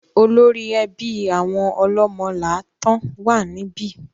Olórí ẹbí àwọn Ọlọ́mọ́láàtan wà níbí.